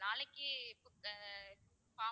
நாளைக்கு அஹ் form